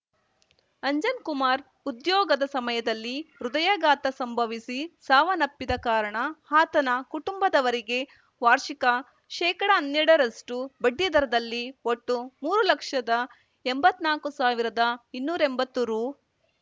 ಅಂಜನ್‌ ಕುಮಾರ್‌ ಉದ್ಯೋಗದ ಸಮಯದಲ್ಲಿ ಹೃದಯಘಾತ ಸಂಭವಿಸಿ ಸಾವನ್ನಪ್ಪಿದ ಕಾರಣ ಆತನ ಕುಟುಂಬದವರಿಗೆ ವಾರ್ಷಿಕ ಶೇಕಡಹನ್ನೆರಡರಷ್ಟುಬಡ್ಡಿದರದಲ್ಲಿ ಒಟ್ಟು ಮೂರು ಲಕ್ಷದಎಂಬತ್ ನಾಕು ಸಾವಿರದಇನ್ನೂರೆಂಬತ್ತು ರು